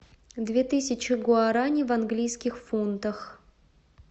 две тысячи гуарани в английских фунтах